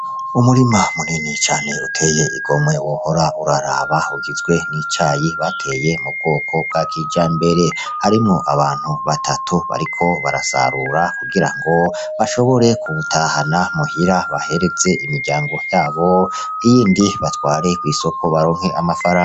Umurima munini cane uteye igomwe wohora uraraba, ugizwe n' icayi bateye mu bwoko bwa kijambere. Harimwo abantu batatu bariko barasarura kugira ngo bashobore kuwutahana muhira bahereze imiryango yabo, iyindi batware kw'isoko baronke amafaranga.